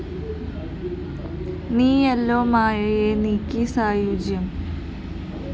നീയല്ലോ മായയെ നീക്കി സായുജ്യം